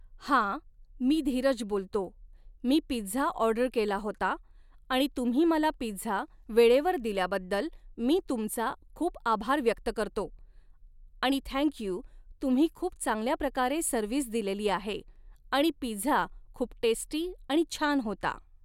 हा मी धीरज बोलतो, मी पिझ्झा ऑर्डर केला होता आणि तुम्ही मला पिझ्झा वेळेवर दिल्याबद्दल मी तुमचा खूप आभार व्यक्त करतो, आणि थँक यू तुम्ही खूप चांगल्या प्रकारे सर्विस दिलेली आहे आणि पिझ्झा खूप टेस्टी आणि छान होता